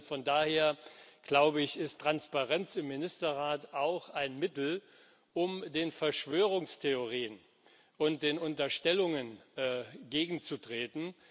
Und von daher, glaube ich, ist Transparenz im Ministerrat auch ein Mittel, um den Verschwörungstheorien und den Unterstellungen entgegenzutreten.